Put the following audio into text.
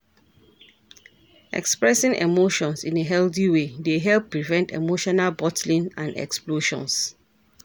Expressing emotions in a healthy way dey help prevent emotional bottling and explosions.